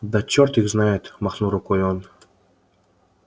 да черт их знает махнул рукой он